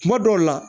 Kuma dɔw la